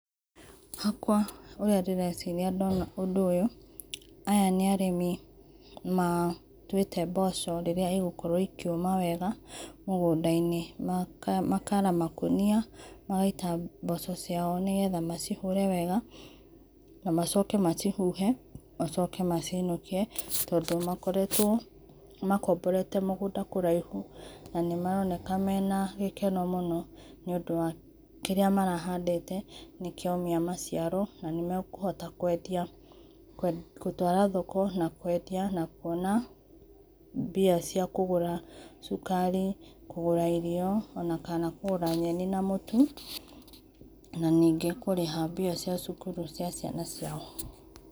Hakwa ũrĩa nderĩcĩrĩa ndona ũndũ ũyũ aya nĩ arĩmĩ matũĩte mboco rĩrĩa igũkorwo ikĩũma wega mũgũnda inĩ makara makũnĩa magaĩta mboco ciao nĩgetha macĩhũre wega, na macoke macihũhe macoke maciinũkĩe tondũ makoretwo makomborete mũgũnda kũraihũ na maraonekana mena gĩkeno mũno nĩ ũndũ wa kĩrĩa marahandĩte nĩkĩaũmĩa maciaro, na makũahota kũendĩa gũtwara thoko na kũendĩa na kũona mbĩa cia kũgũra cũkari kũgũra irio ona kana kũgũra nyenĩ na mũtũ na nĩngĩ kũrĩha mbĩa cia cũkũrũ cia ciana ciao.